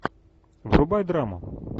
врубай драму